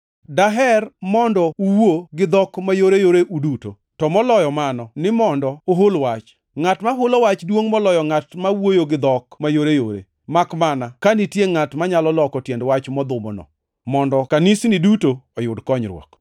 Daher mondo uwuo gi dhok mayoreyore uduto, to moloyo mano, ni mondo uhul wach. Ngʼat ma hulo wach duongʼ moloyo ngʼat ma wuoyo gi dhok mayoreyore makmana ka nitie ngʼat manyalo loko tiend wach modhumono, mondo kanisni duto oyud konyruok.